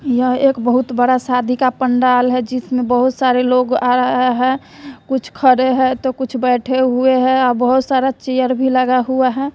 यह एक बहुत बड़ा शादी का पंडाल है जिसमें बहुत सारे लोग आ आये है कुछ खड़े है तो कुछ बैठे हैं आ बहुत सारा चेयर भी लगा हुआ है।